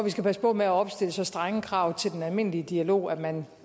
vi skal passe på med at opstille så strenge krav til den almindelige dialog at man